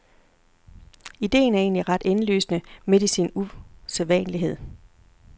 Ideen er egentlig ret indlysende midt i sin usædvanlighed.